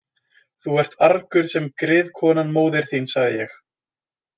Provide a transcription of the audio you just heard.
Þú ert argur sem griðkonan móðir þín, sagði ég.